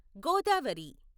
Godavari